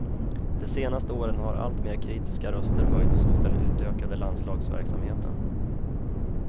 De senaste åren har allt mer kritiska röster höjts mot den utökade landslagsverksamheten.